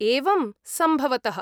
एवम्, सम्भवतः।